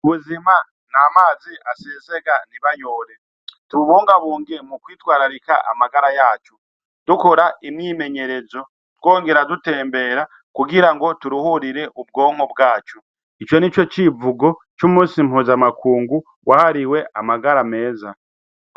Ubuzima ni amazi asezega nibayore tububunga bunge mu kwitwararika amagara yacu dukora imyimenyerezo twongera dutembera kugira ngo turuhurire ubwomwo bwacu ico ni co civugo c'umusi mpuza amakungu wahariwe amagara meza.